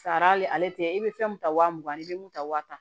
Sara hali ale tɛ i bɛ fɛn mun ta wa mugan ni bi mun ta waa tan